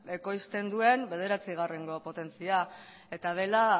ekoizten duen bederatzigarrengo potentzia eta dela